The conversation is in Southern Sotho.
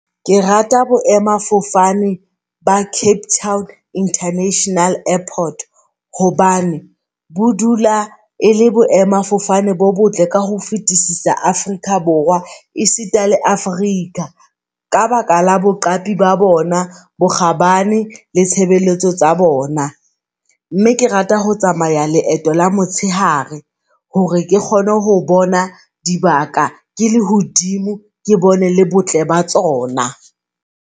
Ke rata boemafofane ba Cape Town International Airport hobane bo dula e le boemafofane bo botle ka ho fetisisa Afrika Borwa. E sita le Afrika ka baka la boqapi ba bona, bokgabane le tshebeletso tsa bona. Mme ke rata ho tsamaya leeto la motshehare hore ke kgone ho bona dibaka ke lehodimo, ke bone le botle ba tsona.